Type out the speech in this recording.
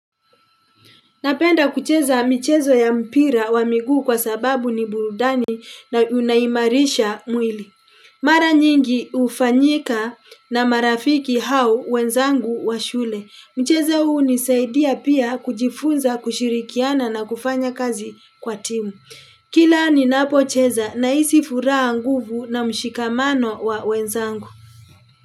Napenda kucheza michezo ya mpira wa miguu kwa sababu ni burudani na unaimarisha mwili. Mara nyingi hufanyika na marafiki hao wenzangu wa shule. Michezo huu hunisaidia pia kujifunza kushirikiana na kufanya kazi kwa timu. Kila ninapocheza nahisi furaha nguvu na mshikamano wa wenzangu.